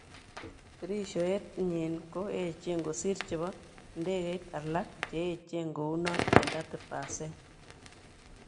Dirishoet nyin ko yechen kosir chebo idegeit alak cheyechen kounon eng 30 percent.